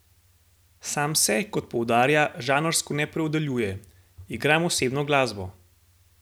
Sam se, kot poudarja, žanrsko ne opredeljuje: 'Igram osebno glasbo.